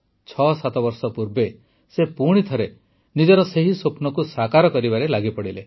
୬୭ ବର୍ଷ ପୂର୍ବେ ସେ ପୁଣିଥରେ ନିଜର ସେହି ସ୍ୱପ୍ନକୁ ସାକାର କରିବାରେ ଲାଗିପଡ଼ିଲେ